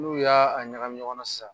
N'u y'a ɲagami ɲɔgɔn na sisan